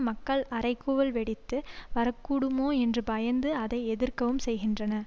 மக்கள் அறைகூவல் வெடித்து வரக்கூடுமோ என்று பயந்து அதை எதிர்க்கவும் செய்கின்றன